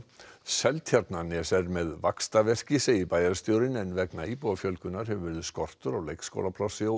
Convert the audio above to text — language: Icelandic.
Seltjarnarnes er með vaxtaverki segir bæjarstjórinn en vegna íbúafjölgunar hefur verið skortur á leikskólaplássi og